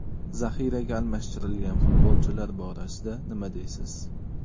Zaxiraga almashtirgan futbolchilar borasida nima deysiz?